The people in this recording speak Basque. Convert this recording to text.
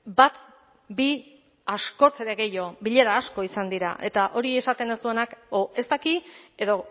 bat bi askoz ere gehiago bilera asko izan dira eta hori esaten ez duenak edo ez daki edo